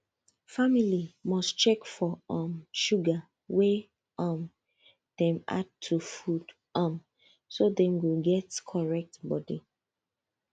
family must check for um sugar wey um dem add to food um so dem go get correct body